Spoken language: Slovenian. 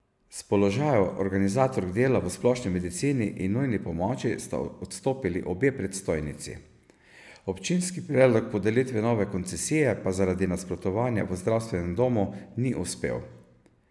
S položajev organizatork dela v splošni medicini in nujni pomoči sta odstopili obe predstojnici, občinski predlog podelitve nove koncesije pa zaradi nasprotovanja v zdravstvenem domu ni uspel.